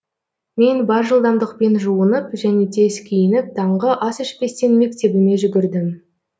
мен бар жылдамдықпен жуынап және тез киініп таңғы ас ішпестен мектебіме жүгірдім